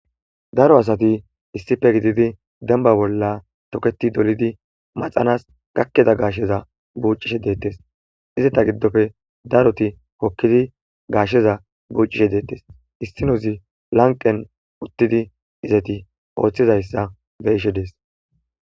Daro asati issipe gididi denba bolla toketi dolidi maxanas gakida gasheza bucishe detes eta gidope daroti hokidi gasheza bucishe detes issi nozi laqene utidi izeti othizaysa beyishe dese